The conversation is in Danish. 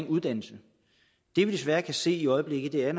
uddannelse det vi desværre kan se i øjeblikket er